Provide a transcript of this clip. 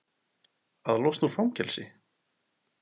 Að losna úr fangelsi?